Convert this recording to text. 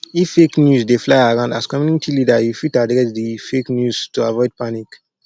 if fake news dey fly around as community leader you fit address di fake news to avoid panic